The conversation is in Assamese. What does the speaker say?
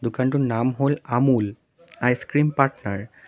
দোকানটোৰ নাম হ'ল আমূল আইচ্ ক্ৰীম পাৰ্টনাৰ ।